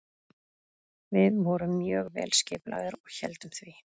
Við vorum mjög vel skipulagðir og héldum því.